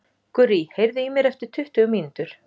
Gurrý, heyrðu í mér eftir tuttugu mínútur.